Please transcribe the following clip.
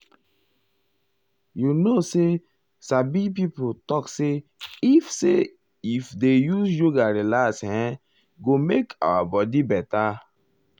you know say sabi um pipo talk say if say if dey use yoga relax e um go make our life beta.